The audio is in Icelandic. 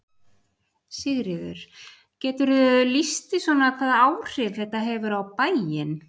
Sigríður: Geturðu lýst því svona hvaða áhrif þetta hefur á bæinn?